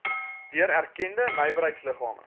deur erkende nywerheidsliggame